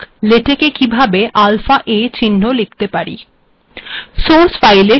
আমরা কিভাবে আলফাa চিহ্ন লিখতে পারি